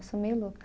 Eu sou meio louca.